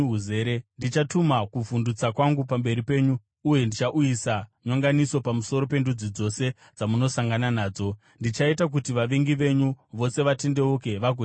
“Ndichatuma kuvhundutsa kwangu pamberi penyu uye ndichauyisa nyonganiso pamusoro pendudzi dzose dzamunosangana nadzo. Ndichaita kuti vavengi venyu vose vatendeuke vagotiza.